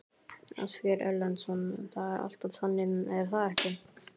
Ásgeir Erlendsson: Það er alltaf þannig er það ekki?